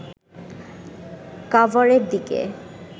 কাভারের দিকে